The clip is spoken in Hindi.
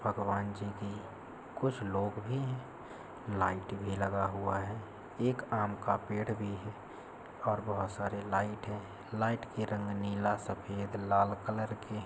भगवान जी भी कुछ लोग भी है। लाइट भी लगा हुआ है। एक आम का पेड़ भी है। और बहुत सारी लाइट है। लाइट की रंग नीला सफेद लाल कलर के है।